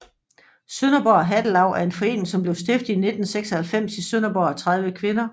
Sønderborg Hattelaug er en forening som blev stiftet i 1996 i Sønderborg af 30 kvinder